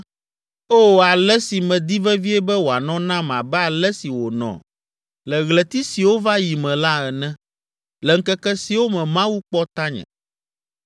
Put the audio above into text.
“O, ale si medi vevie be wòanɔ nam abe ale si wònɔ le ɣleti siwo va yi me la ene, le ŋkeke siwo me Mawu kpɔ tanye,